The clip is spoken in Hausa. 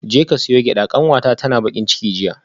Jeka siyo gyada kanwata tana bakin ciki jiya